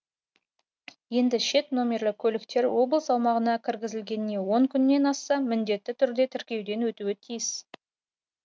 енді шет нөмірлі көліктер облыс аумағына кіргізілгеніне он күннен асса міндетті түрде тіркеуден өтуі тиіс